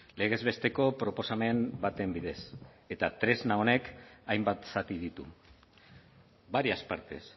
legez besteko proposamen baten bidez eta tresna honek hainbat zati ditu varias partes